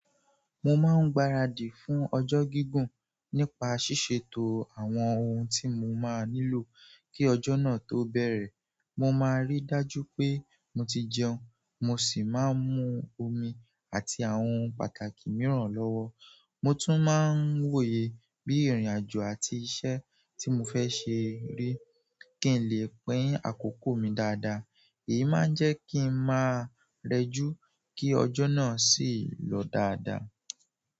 Mo máa ń gbáradì fún ọjọ́ gígùn nípa ṣíṣètò àwọn ohun tí mo máa nílò kí ọjọ́ náà tó bẹ̀rẹ̀. Mo máa ríi dájú pé mo ti jẹun, mo sì máa ń mu omi àti àwọn pàtàkì mìíràn lọ́wọ́. Mo tún máa ń wòye bí ìrìnàjò àti iṣẹ́ tí mo fẹ́ ṣe rí kí n lè pín àkókò mi dáadáa. Èyí máa ń jẹ́ kí ń máa rẹjú kí ọjọ́ náà sì lọ dáadáa.